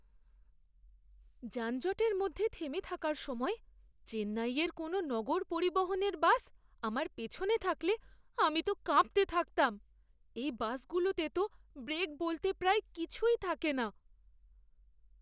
যানজটের মধ্যে থেমে থাকার সময় চেন্নাইয়ের কোনও নগর পরিবহণের বাস আমার পেছনে থাকলে আমি তো কাঁপতে থাকতাম। এই বাসগুলোতে তো ব্রেক বলতে প্রায় কিছুই থাকে না!